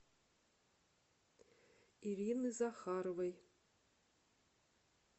ирины захаровой